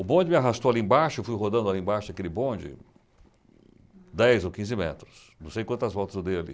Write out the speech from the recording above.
O bonde me arrastou ali embaixo, eu fui rodando ali embaixo daquele bonde, dez ou quinze metros, não sei quantas voltas eu dei ali.